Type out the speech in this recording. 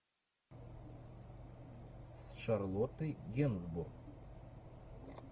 с шарлоттой генсбур